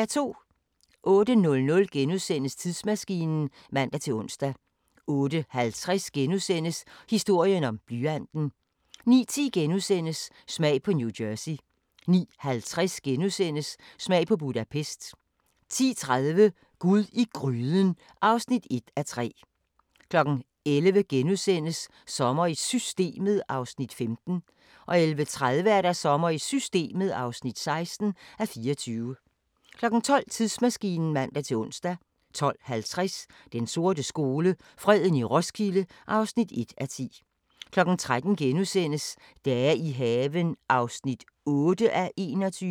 08:00: Tidsmaskinen *(man-ons) 08:50: Historien om blyanten * 09:10: Smag på New Jersey * 09:50: Smag på Budapest * 10:30: Gud i gryden (1:3) 11:00: Sommer i Systemet (15:24)* 11:30: Sommer i Systemet (16:24) 12:00: Tidsmaskinen (man-ons) 12:50: Den sorte skole: Freden i Roskilde (1:10) 13:00: Dage i haven (8:21)*